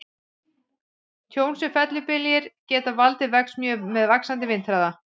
Tjón sem fellibyljir geta valdið vex mjög með vaxandi vindhraða.